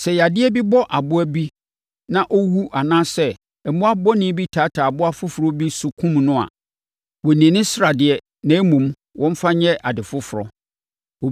Sɛ yadeɛ bi bɔ aboa bi na ɔwu anaasɛ mmoa bɔne bi taataa aboa foforɔ bi so kum no a, wɔnnni ne sradeɛ na mmom, wɔmfa nyɛ ade foforɔ.